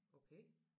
Okay